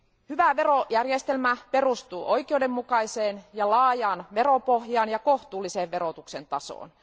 Hyvä verojärjestelmä perustuu oikeudenmukaiseen ja laajaan veropohjaan ja kohtuulliseen verotuksen tasoon.